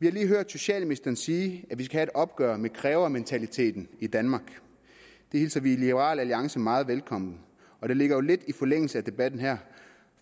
vi har lige hørt socialministeren sige at vi skal have et opgør med krævementaliteten i danmark det hilser vi i liberal alliance meget velkommen og det ligger jo lidt i forlængelse af debatten her